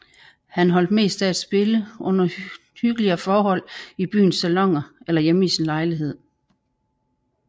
Han holdt mest af at spille under hyggeligere forhold i byens saloner eller hjemme i sin lejlighed